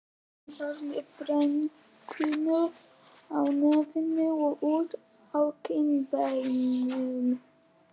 Hún var með freknur á nefinu og út á kinnbeinin.